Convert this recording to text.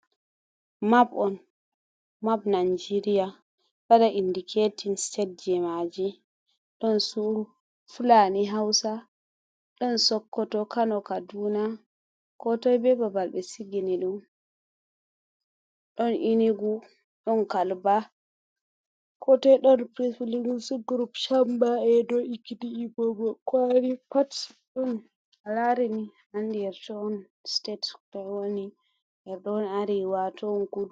Map on, map najeria ɗo waɗa indiketin state ji maji, ɗon fulani hausa, ɗon sokoto, kano, kaduna, ko toi be babal ɓe sigini ɗum. Ɗon inugu, ɗon kalba, ko toi ɗon pril grop chamba, ’edo, ekiti, igbobo, kwari Pat ɗon a larini a andi her toi on states toi woni, her toi on arewa, toi on kudu.